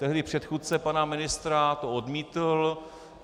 Tehdy předchůdce pana ministra to odmítl.